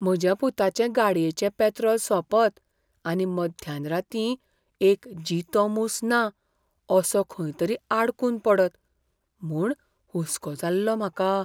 म्हज्या पुताचे गाडयेचें पॅत्रॉल सोंपत आनी मध्यान रातीं एक जितो मूस ना असो खंयतरी आडकून पडत म्हूण हुस्को जाल्लो म्हाका.